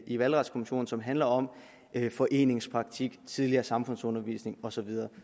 i valgretskommissionen som handler om foreningspraktik tidligere samfundsundervisning og så videre